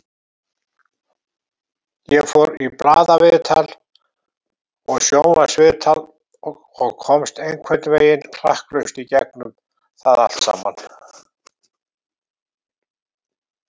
Ég fór í blaðaviðtöl og sjónvarpsviðtal og komst einhvern veginn klakklaust í gegnum það allt.